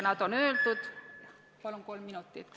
Palun kolm minutit lisaks!